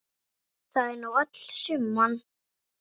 Það er nú öll summan.